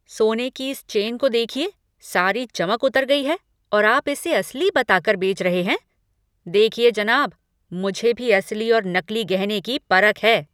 सोने की इस चेन को देखिए, सारी चमक उतर गई है और आप इसे असली बताकर बेच रहे हैं? देखिए जनाब! मुझे भी असली और नकली गहने की परख है!